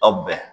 Aw bɛn